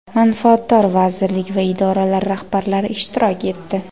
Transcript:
manfaatdor vazirlik va idoralar rahbarlari ishtirok etdi.